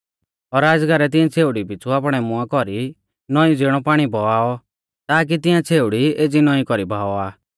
और अजगरै तिऐं छ़ेउड़ी पिछ़ु आपणै मुंआ कौरी नौईं ज़िणौ पाणी बहाऔ ताकी तिंआ छ़ेउड़ी एज़ी नौईं कौरी बाहावा